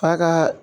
F'a kaa